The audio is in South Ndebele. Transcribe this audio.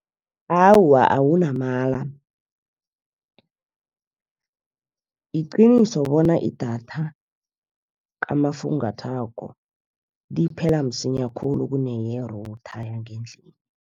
Awa, awunamala iqiniso bona idatha kamafungathwako liphela msinya khulu kuneye-Router yangendlini.